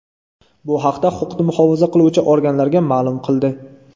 Bu haqda huquqni muhofaza qiluvchi organlarga ma’lum qildi.